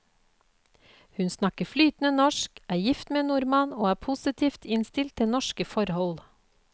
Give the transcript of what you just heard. Hun snakker flytende norsk, er gift med en nordmann og er positivt innstilt til norske forhold.